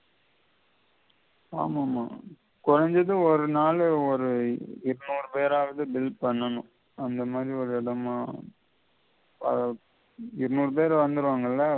ஆமாமா கொறஞ்சது ஒரு நாள்ல ஒரு இருநூறு பேராவது bill பண்ணனும் அந்த மாதிரி ஒரு எடமா அதாவது இருநூறு பேர் வந்திடுவாங்கல்ல